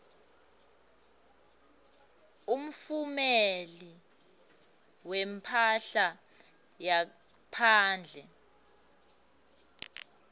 umtfumeli wemphahla ngaphandle